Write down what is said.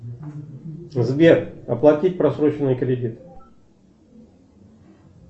сбер оплатить просроченный кредит